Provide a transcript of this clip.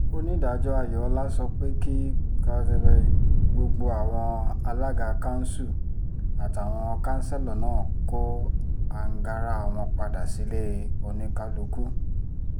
onídàájọ́ ayọ̀ọ́lá sọ pé kí gbogbo àwọn alága kanṣu àtàwọn kanṣẹ́lò náà kó àǹgára wọn padà sílẹ̀ oníkálukú